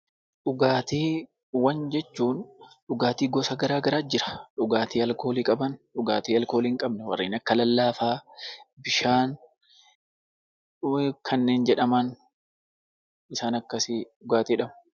Dhugaatiiwwan jechuun dhugaatii gosa gara garaa jira. Dhugaatii alkoolii qaban, dhugaatii alkoolii hin qabne kanneen akka lallaafaa, bishaan kanneen jedhaman kanneen akkasii 'dhugaatii' jedhamu.